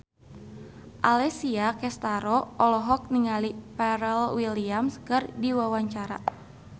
Alessia Cestaro olohok ningali Pharrell Williams keur diwawancara